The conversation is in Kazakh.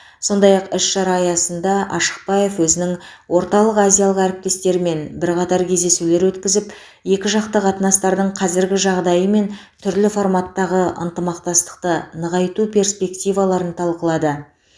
сондай ақ іс шара аясында ашықбаев өзінің орталық азиялық әріптестерімен бірқатар кездесулер өткізіп екіжақты қатынастардың қазіргі жағдайы мен түрлі форматтағы ынтымақтастықты нығайту перспективаларын талқылады